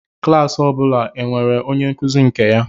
Klas ọ bụla e nwere onye nkuzi nke ya